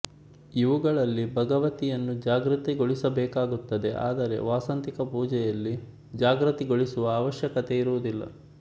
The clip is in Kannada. ಇವುಗಳಲ್ಲಿ ಭಗವತಿಯನ್ನು ಜಾಗೃತಗೊಳಿಸಬೇಕಾಗುತ್ತದೆ ಆದರೆ ವಾಸಂತಿಕ ಪೂಜೆಯಲ್ಲಿ ಜಾಗೃತಗೊಳಿಸುವ ಆವಶ್ಯಕತೆಯಿರುವುದಿಲ್ಲ